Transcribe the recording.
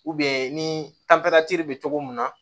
ni be cogo min na